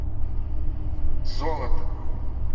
золото